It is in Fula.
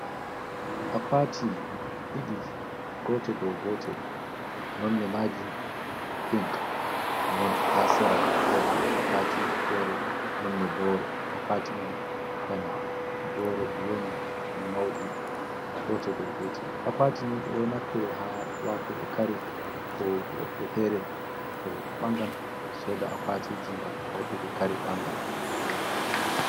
akwatiji didi gote do gote nonne maji pink, non ha serabo wodi akwatii fere nonne boro akwati man bana borodi woni, maudi gote do gote akwatini do naftire ha watugo kare kobe fere to bangal soda akwatiji gam hautugo kare bangal.